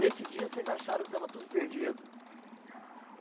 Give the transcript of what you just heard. Nesse dia, vocês acharam que estava tudo perdido?